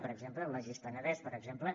per exemple el baix penedès per exemple